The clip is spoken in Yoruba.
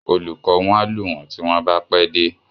Olùkọ wọn a lù wọn ti wọn ba pẹ dé.